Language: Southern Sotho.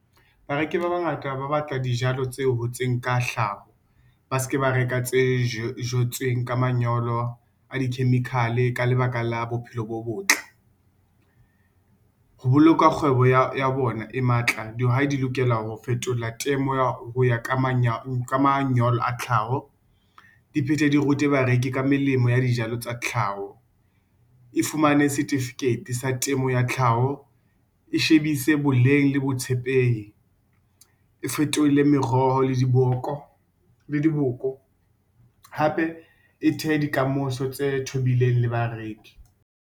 Bareki ba bangata ba batla dijalo tse hotseng ka hlaho, ba ske ba reka tse jetsweng ka manyolo, a di-chemical-e ka le baka la bophelo bo botle. Ho boloka kgwebo ya bona e matla dihwai di lokela ho fetola temo hoya ka manyolo a tlhaho. Diphete di rute bareki ka melemo ya dijalo tsa tlhaho e fumane certificate sa temo ya tlhaho e shebise boleng le botshepehi, e fetole meroho le diboko hape e thehe di kamoso tse thobileng le bareki.